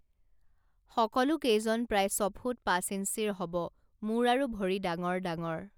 সকলোকেইজন প্ৰায় ছফুট পাঁচ ইঞ্চিৰ হব মূৰ আৰু ভৰি ডাঙৰ ডাঙৰ